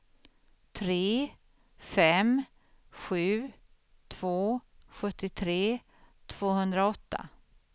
tre fem sju två sjuttiotre tvåhundraåtta